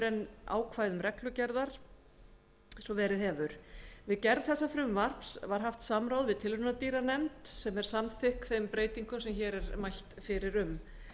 en ákvæðum reglugerðar eins og verið hefur við gerð þessa frumvarps var haft samráð við tilraunadýranefnd sem er samþykk þeim breytingum sem hér er mælt fyrir um